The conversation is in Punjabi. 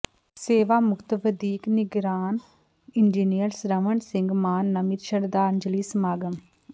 ਸੇਵਾ ਮੁਕਤ ਵਧੀਕ ਨਿਗਰਾਨ ਇੰਜੀਨੀਅਰ ਸਰਵਨ ਸਿੰਘ ਮਾਨ ਨਮਿਤ ਸ਼ਰਧਾਂਜਲੀ ਸਮਾਗਮ